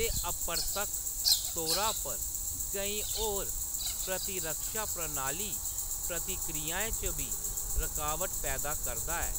ते अपरतक्ख तौरा पर केईं होर प्रतिरक्षा प्रणाली प्रतिक्रियाएं च बी रकावट पैदा करदा ऐ।